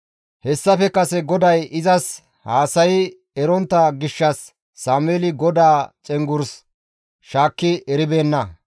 Hessafe kase GODAY izas haasayi erontta gishshas Sameeli GODAA cenggurs shaakki eribeenna.